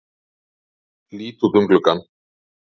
Lít út um gluggann.